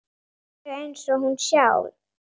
Alveg eins og hún sjálf.